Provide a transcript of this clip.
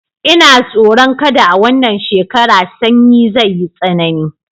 Ina tsoron kada a wannan shekara Sannyi zai yi tsanani